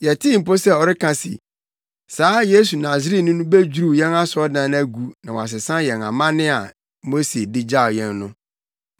Yɛtee mpo sɛ ɔreka se, saa Yesu Nasareni no bedwiriw yɛn asɔredan no agu na wasesa yɛn amanne a Mose de gyaw yɛn no!”